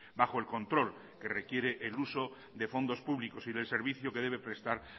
bajo el control que requiere el uso de fondos públicos y del servicio que debe prestar